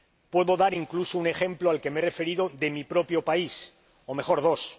Puedo dar, incluso, un ejemplo al que me he referido, de mi propio país, o mejor dos.